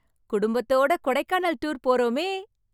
குடும்பத்தோட கொடைக்கானல் டூர் போறமே.